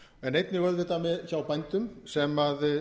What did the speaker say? en einnig auðvitað hjá bændum sem